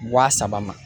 Wa saba ma